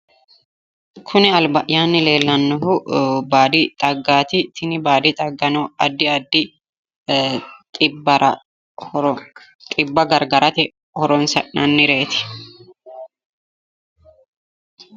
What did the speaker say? Kuni albayyanni leellannohu baadi xaggaati, tini baadi xaggano addi addi xibbara horo xibba gargarate horonsi'nannireeti.